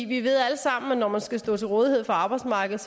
vi ved alle sammen at når man skal stå til rådighed for arbejdsmarkedet